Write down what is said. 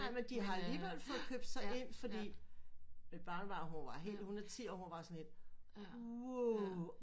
Nej men de har alligevel fået købt sig ind fordi mit barnebarn hun var helt hun er ti år og var sådan helt wow